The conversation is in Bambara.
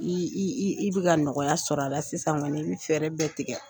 I i i i i bɛ ka nɔgɔya sɔrɔ a la sisan kɔni, i bɛ fɛɛrɛ bɛɛ tigɛ.